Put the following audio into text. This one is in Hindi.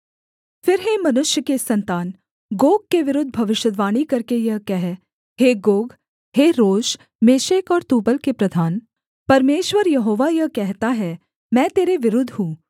फिर हे मनुष्य के सन्तान गोग के विरुद्ध भविष्यद्वाणी करके यह कह हे गोग हे रोश मेशेक और तूबल के प्रधान परमेश्वर यहोवा यह कहता है मैं तेरे विरुद्ध हूँ